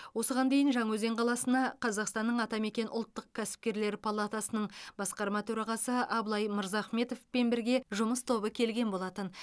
осыған дейін жаңаөзен қаласына қазақстанның атамекен ұлттық кәсіпкерлер палатасының басқарма төрағасы абылай мырзахметовпен бірге жұмыс тобы келген болатын